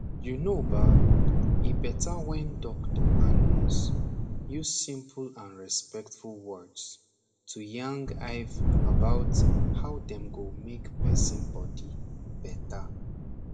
you know ba e beta wen doctor and nurse use simple and respectful words to yang iv about how dem go mak person bodi beta